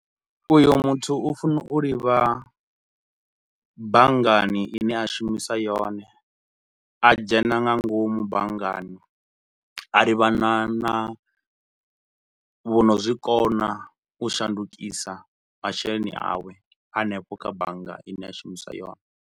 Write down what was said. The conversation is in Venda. Uyo muthu u funa u livha banngani ine a shumisa yone, a dzhena nga ngomu banngani, a livhana na vho no zwikona u shandukisa masheleni awe hanefho kha bannga ine a shumisa yone.